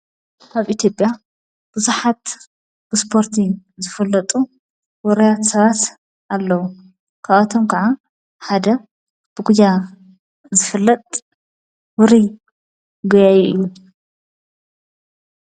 ኣብ ኢትዮጵያ ብዙኃት ብስፖርቲ ዝፍለጡ ወርያት ሰባት ኣለዉ ካዋቶም ከዓ ሓደ ብጕያ ዘፍለጥ ውሪ ጐያይ እዩ።